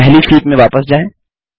पहली शीट में वापस जाएँ